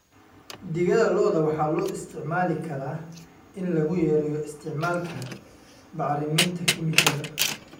Digada lo'da waxaa loo isticmaali karaa in lagu yareeyo isticmaalka bacriminta kiimikada.